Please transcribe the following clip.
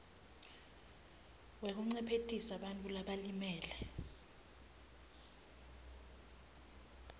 wekuncephetelisa bantfu labalimele